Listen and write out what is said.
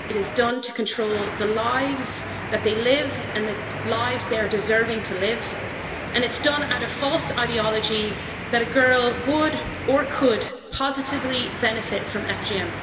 It is done to control the lives that they live and the lives they are deserving to live, and it's done out of false ideology that a girl would, or could, positively benefit from FGM.